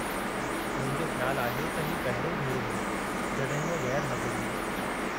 मुंहिंजो ख़्यालु आहे त ही पहिरियों भेरो हो जॾहिं हूअ ग़ैरु हाज़ुरु हुई।